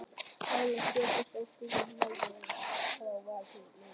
Ferðafélagi Stefáns ók bílnum og lagði honum skammt frá varðhliðinu.